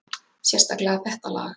Sérstaklega þetta lag.